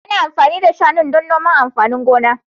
Ana amfani da shanun don noman amfanin gona.